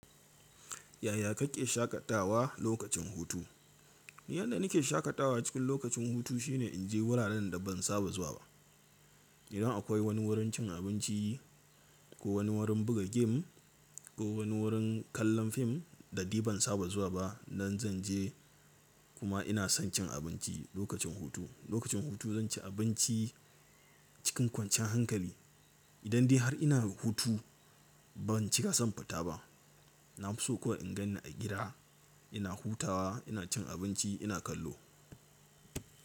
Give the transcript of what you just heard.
Yaya kake shakatawa lokacin hutu? Yanda nake shakatawa cikin lokacin hutu shine in je wuraren da ban saba zuwa ba. Idan akwai wani wurin cin abinci ko wani wurin buga game ko wani wurin kallon fim da dai ban saba zuwa ba, nan zan je kuma ina son cin abinci lokacin hutu. Lokacin hutu zan ci abinci cikin kwanciyan hankali. Idan dai har ina hutu ban cika son fita ba. Na fi so kawai in gan ni a gida ina hutawa, ina cin abinci, ina kallo.